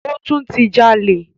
Ó tún ti jalè.